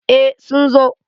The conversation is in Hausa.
eh sun zo